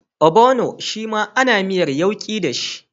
Ogbono shima ana miyar yauki dashi